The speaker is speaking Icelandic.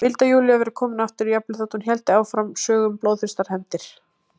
Vildi að Júlía væri komin aftur, jafnvel þótt hún héldi áfram sögum um blóðþyrstar hefndir.